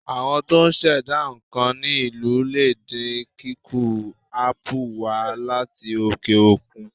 Àwọn tó ń ṣẹ̀dá nǹkan ní ìlú lè dín kíkó ápù wà á láti òkè òkun.